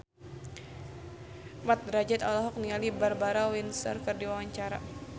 Mat Drajat olohok ningali Barbara Windsor keur diwawancara